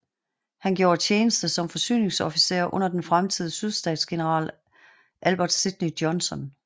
Han gjorde tjeneste som forsyningsofficer under den fremtidige sydstatsgeneral Albert Sidney Johnston